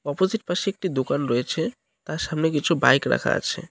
Opposite পাশে একটি দোকান রয়েছে তার সামনে কিছু বাইক রাখা আছে।